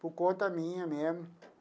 Por conta minha mesmo.